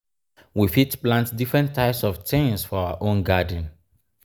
we fit plant different types of things for our own garden